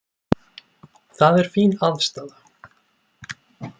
Það er fín aðstaða.